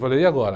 Falei, e agora?